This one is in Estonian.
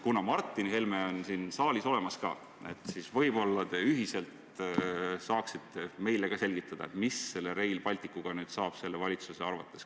" Kuna Martin Helme on ka siin saalis olemas, siis võib-olla te ühiselt saaksite meile selgitada, mis selle Rail Balticuga valitsuse arvates saab.